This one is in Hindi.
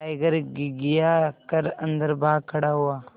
टाइगर घिघिया कर अन्दर भाग खड़ा हुआ